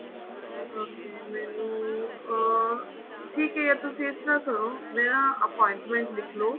okay ਮੈਨੂੰ ਅਹ ਠੀਕ ਹੈ ਤੁਸੀਂ ਇਸ ਤਰ੍ਹਾਂ ਕਰੋ ਮੇਰਾ appointment ਲਿੱਖਲੋ